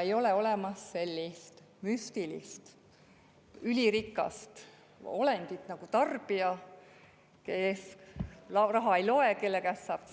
Ei ole olemas sellist müstilist ülirikast olendit nagu tarbija, kes raha ei loe, kelle käest saab